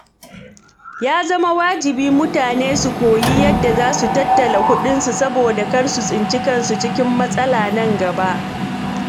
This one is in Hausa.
Ya zama wajibi mutane su koyi yadda za su tattala kuɗinsu saboda kar su tsinci kansu cikin matsala nan gaba.